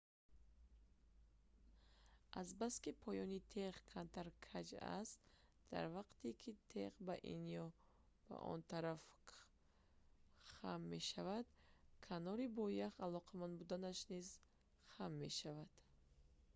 азбаски поёни теғ камтар каҷ аст дар вақте ки теғ ба ин ё ба он тараф хам мешавад канори бо ях алоқаманд будааш низ хам мешавад